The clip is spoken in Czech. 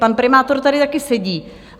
Pan primátor tady taky sedí.